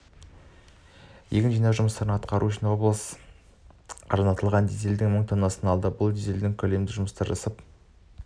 егін жинау жұмыстарын атқару үшін облыс арзандатылған дизельдің мың тоннасын алды бұл дизельдің көлемі жұмысты жасап